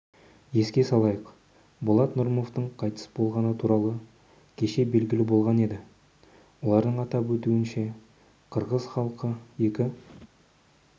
еске салайық болат нұрымовтың қайтыс болғаны туралы кешебелгілі болған еді олардың атап өтуінше қырғыз халқы екі